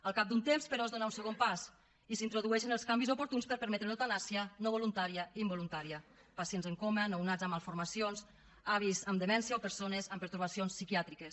al cap d’un temps però es dona un segon pas i s’introdueixen els canvis oportuns per permetre l’eutanàsia no voluntària involuntària pacients en coma nounats amb malformacions avis amb demència o persones amb pertorbacions psiquiàtriques